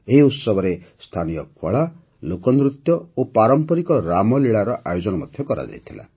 ଏହି ଉତ୍ସବରେ ସ୍ଥାନୀୟ କଳା ଲୋକନୃତ୍ୟ ଓ ପାରମ୍ପରିକ ରାମଲୀଳାର ଆୟୋଜନ କରାଯାଇଥିଲା